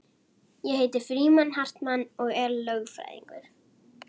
Ég heiti Frímann Hartmann og er lögfræðingur